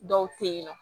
Dɔw te yen nɔ